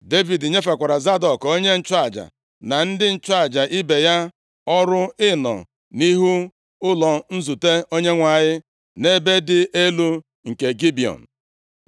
Devid nyefekwara Zadọk, onye nchụaja, na ndị nchụaja ibe ya, ọrụ ịnọ nʼihu ụlọ nzute Onyenwe anyị, nʼebe dị elu nke Gibiọn.